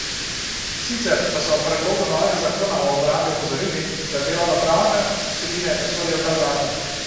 Sicer pa so ob predlogu novega zakona o obrambi opozorili, da delovnopravne vsebine ne sodijo v ta zakon.